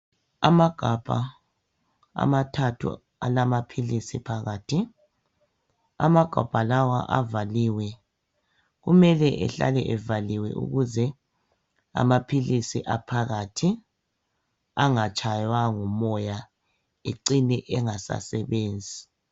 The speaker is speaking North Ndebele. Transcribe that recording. Amagabha amathathu alamaphilisi phakathi amagabha lawa avaliwe kumele ehlale evaliwe ukuze amaphilisi aphakathi angatshaywa ngumoya ecine engasasebenzi.